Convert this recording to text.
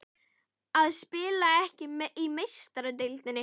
Að spila ekki í Meistaradeildinni?